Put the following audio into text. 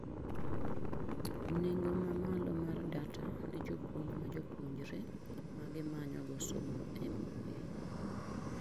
Nengo mamalo mar data ne jopuonj ma jopuonjre ma gimanyo go somo e mbui